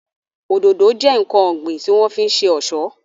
Òdòdó jẹ́ ǹkan ọ̀gbìn tí wọ́n fi ń ṣe ọ̀ṣọ́